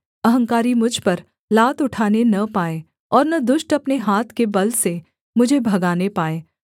अहंकारी मुझ पर लात उठाने न पाए और न दुष्ट अपने हाथ के बल से मुझे भगाने पाए